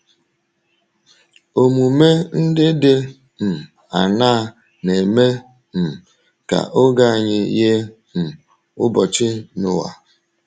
Omume ndị dị um aṅaa na - eme um ka oge anyị yie um ụbọchị Noa?